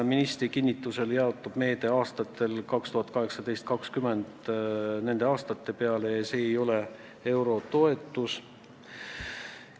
Ministri kinnitusel jaotub meede aastate 2018–2020 peale ja tegu ei ole eurotoetusega.